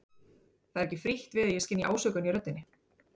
Það er ekki frítt við að ég skynji ásökun í röddinni.